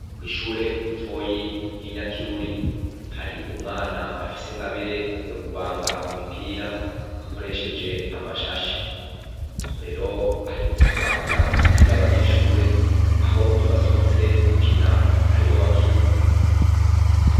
Kw'ishure ritoyi ry'inyakiruri, hari umwana afise ingabire yo kubanga imipira akoresheje amashashi. Aho rero aherutse kubangira umupira abanyeshure, aho iyo basohotse gukina ariwo bakina.